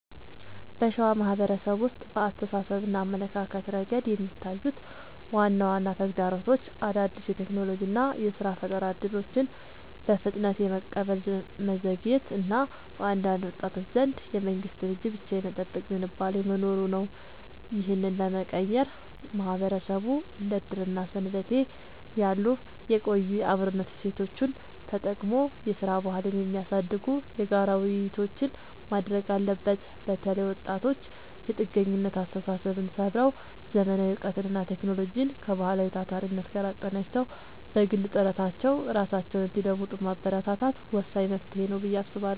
በሸዋ ማህበረሰብ ውስጥ በአስተሳሰብና አመለካከት ረገድ የሚታዩት ዋና ዋና ተግዳሮቶች አዳዲስ የቴክኖሎጂና የሥራ ፈጠራ እድሎችን በፍጥነት የመቀበል መዘግየት እና በአንዳንድ ወጣቶች ዘንድ የመንግስትን እጅ ብቻ የመጠበቅ ዝንባሌ መኖሩ ነው። ይህንን ለመቀየር ማህበረሰቡ እንደ ዕድርና ሰንበቴ ያሉ የቆዩ የአብሮነት እሴቶቹን ተጠቅሞ የሥራ ባህልን የሚያሳድጉ የጋራ ውይይቶችን ማድረግ አለበት። በተለይ ወጣቶች የጥገኝነት አስተሳሰብን ሰብረው: ዘመናዊ እውቀትንና ቴክኖሎጂን ከባህላዊው ታታሪነት ጋር አቀናጅተው በግል ጥረታቸው ራሳቸውን እንዲለውጡ ማበረታታት ወሳኝ መፍትሄ ነው ብዬ አስባለሁ።